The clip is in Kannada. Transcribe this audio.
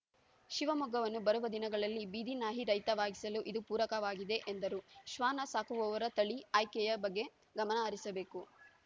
ಶಿವಮೊಗ್ಗವನ್ನು ಬರುವ ದಿನಗಳಲ್ಲಿ ಬೀದಿನಾಯಿರಹಿತವಾಗಿಸಲು ಇದು ಪೂರಕವಾಗಿದೆ ಎಂದರು ಶ್ವಾನ ಸಾಕುವವರು ತಳಿ ಆಯ್ಕೆಯ ಬಗ್ಗೆ ಗಮನಹರಿಸಬೇಕು